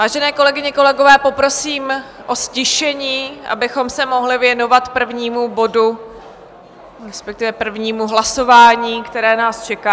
Vážené kolegyně, kolegové, poprosím o ztišení, abychom se mohli věnovat prvnímu bodu, respektive prvnímu hlasování, které nás čeká.